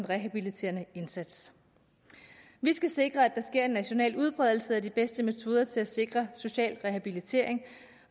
rehabiliterende indsats vi skal sikre at der sker en national udbredelse af de bedste metoder til at sikre social rehabilitering